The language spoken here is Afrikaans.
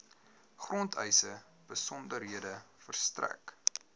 grondeise besonderhede verstrek